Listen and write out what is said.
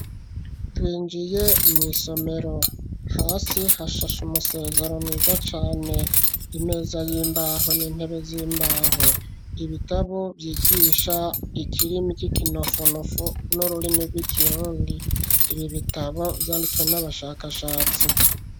Twinjiye mw'isomero, hasi hashashe umusezero mwiza cane, imeza y'imbaho n'intebe z'imbaho, ibitabo vyigisha ikirimi c'ikinofunofu n'ururimi rw'ikirundi, ibi bitabo vyanditswe n'abashakashatsi.